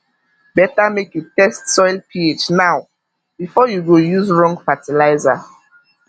better make you test soil ph now before you go use wrong fertilizer